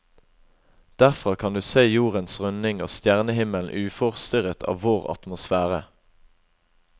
Derfra kan du se jordens runding og stjernehimmelen uforstyrret av vår atmosfære.